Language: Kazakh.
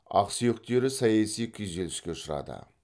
ақсүйектері саяси күйзеліске ұшырады